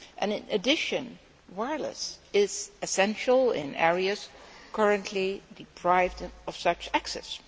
In addition, wireless is essential in areas currently deprived of such access.